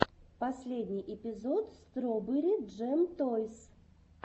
последний эпизод строберри джэм тойс